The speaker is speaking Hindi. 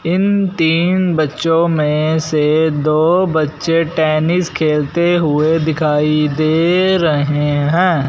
इन तीन बच्चो मे से दो बच्चे टेनिस खेलते हुए दिखाई दे रहें हैं।